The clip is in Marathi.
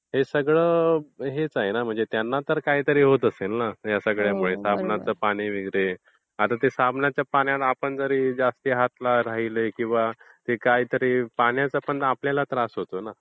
हे सगळं तर हेच आहे ना म्हणजे त्यांना ते काहीतरी होत असेल ना ह्या सगळयामुळे. आता साबणचं पाणी वगैरे आता त्या साबणच्या पाण्यात आपले पण जास्त हात राहिले तर पाण्याचा आपल्याला पण त्रास होतो ना.